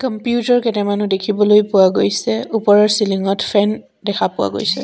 Computer কেইটামানো দেখিবলৈ পোৱা গৈছে ওপৰৰ চেলিঙত ফেন দেখা পোৱা গৈছে।